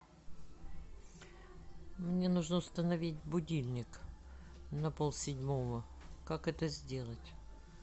мне нужно установить будильник на пол седьмого как это сделать